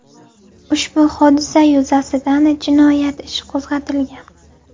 Ushbu hodisa yuzasidan jinoyat ishi qo‘zg‘atilgan.